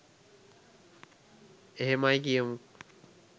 එහෙමයි කියමු